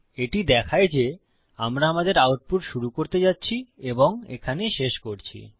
এটি দেখায় যে আমরা আমাদের আউটপুট শুরু করতে যাচ্ছি এবং এখানে শেষ করছি